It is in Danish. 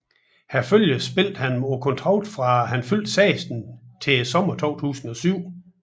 I Herfølge spillede han på kontrakt fra han fyldte 16 til sommeren 2007